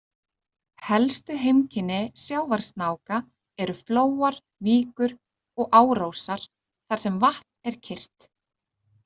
Helstu heimkynni sjávarsnáka eru flóar, víkur og árósar þar sem vatn er kyrrt.